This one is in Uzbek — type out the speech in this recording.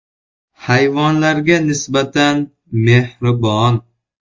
Hayvonlarga nisbatan mehribon.